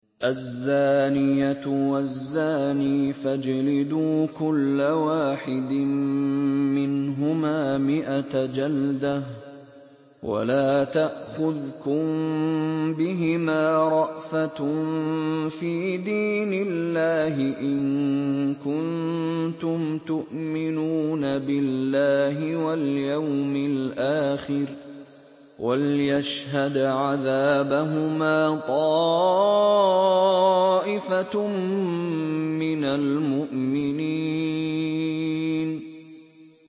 الزَّانِيَةُ وَالزَّانِي فَاجْلِدُوا كُلَّ وَاحِدٍ مِّنْهُمَا مِائَةَ جَلْدَةٍ ۖ وَلَا تَأْخُذْكُم بِهِمَا رَأْفَةٌ فِي دِينِ اللَّهِ إِن كُنتُمْ تُؤْمِنُونَ بِاللَّهِ وَالْيَوْمِ الْآخِرِ ۖ وَلْيَشْهَدْ عَذَابَهُمَا طَائِفَةٌ مِّنَ الْمُؤْمِنِينَ